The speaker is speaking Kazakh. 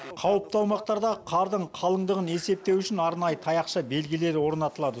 қауіпті аумақтардағы қардың қалыңдығын есептеу үшін арнайы таяқша белгілер орнатылады